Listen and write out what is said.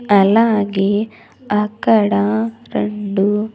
అలాగే అక్కడ రెండు--